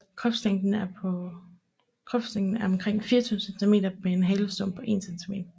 Kropslængden er omkring 24 cm med en halestump på 1 cm